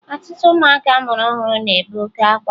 Ọtụtụ ụmụaka a mụrụ ọhụrụ na-ebe oke akwa